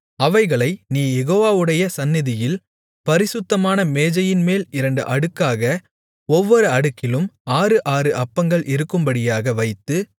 அவைகளை நீ யெகோவாவுடைய சந்நிதியில் பரிசுத்தமான மேஜையின்மேல் இரண்டு அடுக்காக ஒவ்வொரு அடுக்கிலும் ஆறு ஆறு அப்பங்கள் இருக்கும்படியாக வைத்து